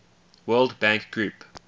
world bank group